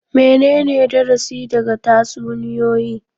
Menene darasi daga tatsuniyoyi?